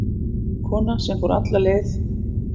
Kona sem fór alla leið